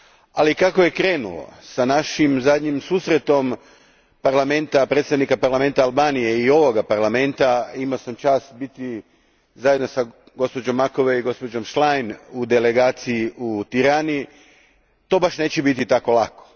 Ali kako je krenulo s našim zadnjim susretom predstavnika parlamenta Albanije i ovog Parlamenta, imao sam čast biti zajedno s gospođom Macovei i gospođom Schlein u delegaciji u Tirani, to baš neće biti tako lako.